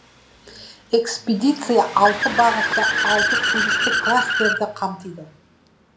экспедиция алты бағытты алты туристік кластерді қамтиды